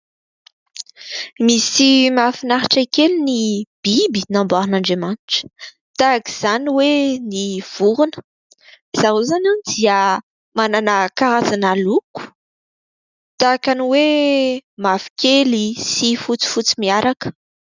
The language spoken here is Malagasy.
Misy mahafinaritra kely ny biby namboarin'Andriamanitra tahak'izany hoe ny vorona, zareo izany dia manana karazana loko tahaka ny hoe mavokely sy fotsifotsy miaraka.